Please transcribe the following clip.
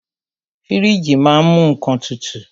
Fíríjì ma á ń mú nnkan tutù.